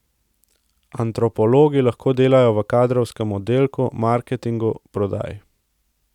Antropologi lahko delajo v kadrovskem oddelku, marketingu, prodaji ...